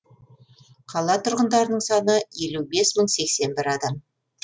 қала тұрғындарының саны елу бес мың сексен бір адам